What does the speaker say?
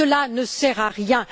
Cela ne sert à rien!